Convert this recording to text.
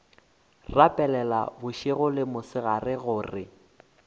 rapela bošego le mosegare gore